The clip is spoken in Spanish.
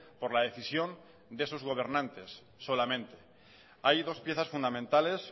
por la decisión de sus gobernantes solamente hay dos piezas fundamentales